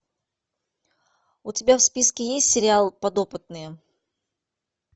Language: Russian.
у тебя в списке есть сериал подопытные